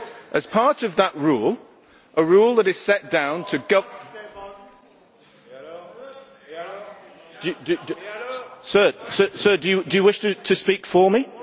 As part of that rule, a rule that is set down to Sir, do you wish to speak for me?